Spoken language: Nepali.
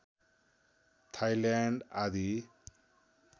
थाइल्याण्ड आदि